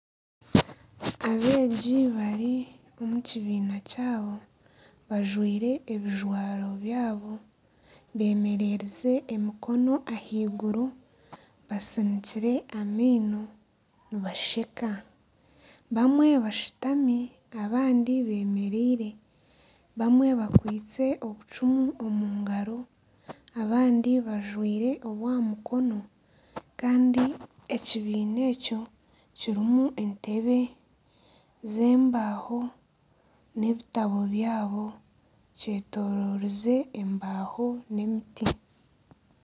Abeegi bari omu kibiina kyabo bajwaire ebijwaro byabo, bemererize emikono ahaiguru, basinikire amaino nibasheka, bamwe bashutami abandi bemereire, bamwe bakwitse obucuumu omu ngaro abandi bajwaire obw'aha mukono kandi ekibiina ekyo kirimu entebe z'embaho, n'ebitabo byabo kyetororize embaho n'emiti.